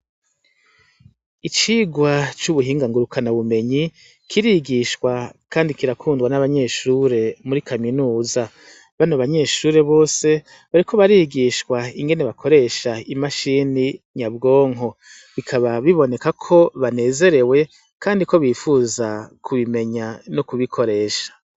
Icigwa c'ubuhinga ngurukana bumenyi, kirigishwa kandi kirakundwa n'abanyeshure bo muri kaminuza. Bano banyeshure bose, bariko barigishwa ingene bakoresha imashini nyabwonko. Bikaba biboneka ko banezerewe kandi ko bifuza kubimenya no kubikoresha.